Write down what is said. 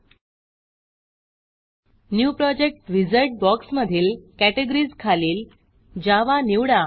new project new project wizard बॉक्समधील categories खालील Java Java निवडा